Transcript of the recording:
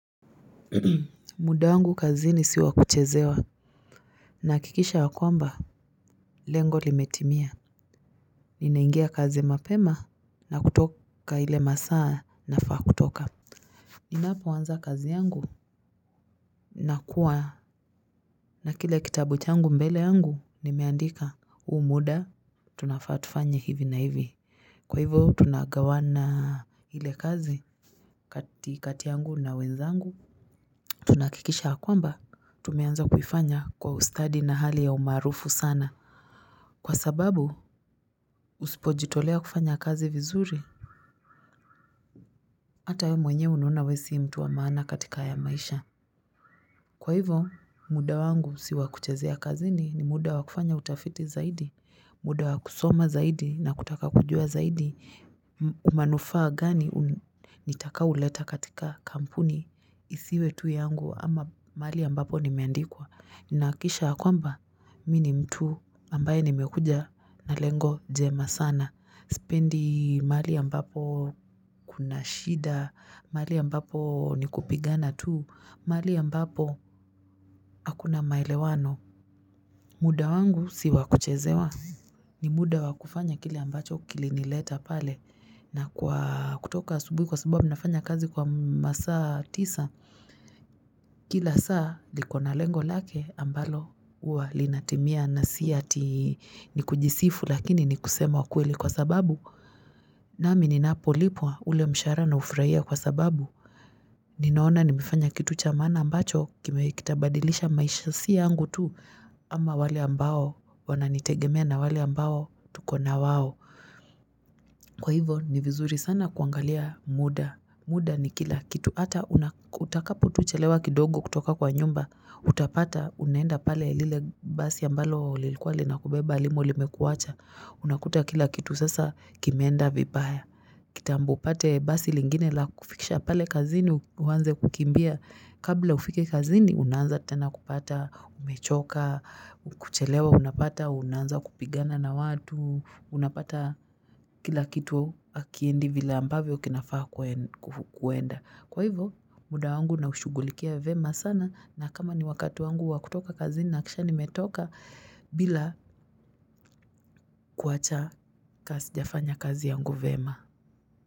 Muda wangu kazini si wa kuchezewa Nahakikisha ya kwamba, lengo limetimia Ninaingia kazi mapema na kutoka ile masaa nafa kutoka Ninapo anza kazi yangu nakuwa na kile kitabu changu mbele yangu nimeandika huu muda Tunafa tufanye hivi na hivi kwa hivyo tunagawana ile kazi kati yangu na wenzangu Tunahakikisha ya kwamba, tumeanza kufanya kwa ustadi na hali ya umarufu sana Kwa sababu, usipojitolea kufanya kazi vizuri Hata wewe mwenye unaona wewe si mtu wa maana katika ya maisha Kwa hivo, muda wangu siwa kuchazea kazini ni muda wa kufanya utafiti zaidi muda wa kusoma zaidi na kutaka kujua zaidi manufaa gani nitakayo leta katika kampuni Isiwe tu yangu ama mahali ambapo nimeandikwa Nahakikisha ha kwamba, mimi ni mtu ambaye nimekuja na lengo jema sana Sipendi mahali ambapo kuna shida, mahali ambapo ni kupigana tu, mahali ambapo hakuna maelewano muda wangu si wa kuchezewa, ni muda wakufanya kile ambacho kilinileta pale na kutoka subuhi kwa sabubu, nafanya kazi kwa masaa tisa Kila saa likona lengo lake ambalo huwa linatimia na si ati nikujisifu lakini nikusema kweli kwa sababu nami ninapo lipwa ule mshahara na ufurahia kwa sababu Ninaona nimefanya kitu cha maana ambacho kitabadilisha maisha si yangu tu ama wale ambao wananitegemea na wale ambao tuko na wao Kwa hivo ni vizuri sana kuangalia muda muda ni kila kitu hata utakapo tu chelewa kidogo kutoka kwa nyumba, utapata unenda pale lile basi ambalo lilikuwa lina kubeba halimo limekuwacha, unakuta kila kitu sasa kimenda vibaya. Kitambo upate basi lingine la kukufikisha pale kazini uanze kukimbia kabla ufike kazini unanza tena kupata, umechoka, kuchelewa unapata, unaanza kupigana na watu, unapata kila kitu hakiendi vile ambavyo kinafaa kuenda. Kwa hivo muda wangu naushughulikia vema sana na kama ni wakati wangu wa kutoka kazini nahakikisha nimetoka bila kuwacha kama sijafanya kazi yangu vema.